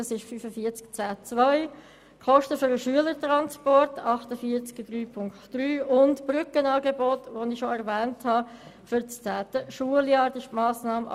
Weiter geht es um die Kosten für den Schülertransport gemäss Massnahme 48.3.3 und für Brückenangebote gemäss Massnahme 48.4.5.